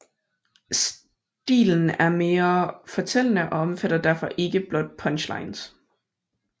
Stilen er mere fortællende og omfatter derfor ikke blot punchlines